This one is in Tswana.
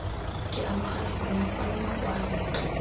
ke amogela gore makwalo makwalo